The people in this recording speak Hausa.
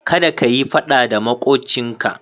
Kada ka yi faɗa da maƙocinka.